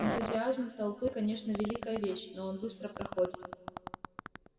энтузиазм толпы конечно великая вещь но он быстро проходит